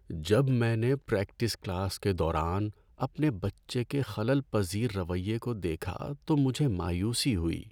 جب میں نے پریکٹس کلاس کے دوران اپنے بچے کے خلل پذیر رویے کو دیکھا تو مجھے مایوسی ہوئی۔